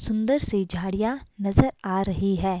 सुंदर सी झाड़ियाँ नजर आ रही है।